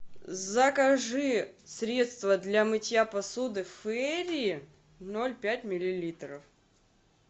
закажи средство для мытья посуды фейри ноль пять миллилитров